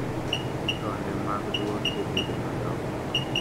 tonde mag duol be bedo madongo